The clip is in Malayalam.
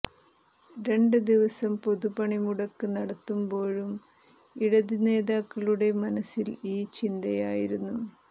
രണ്ട് ദിവസം പൊതു പണിമുടക്ക് നടത്തുമ്പോഴും ഇടത് നേതാക്കളുടെ മനസ്സിൽ ഈ ചിന്തയായിരുന്നു